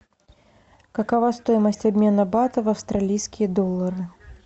какова стоимость обмена бата в австралийские доллары